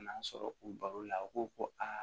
N'an sɔrɔ u baro la u ko ko aa